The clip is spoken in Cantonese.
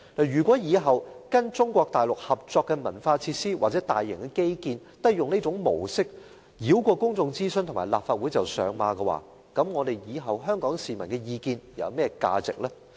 如果以後跟中國大陸合作的文化設施或大型基建也採用這種模式，繞過公眾諮詢和立法會便上馬，那麼日後香港市民的意見還有何價值？